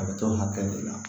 A bɛ t'o hakɛ de la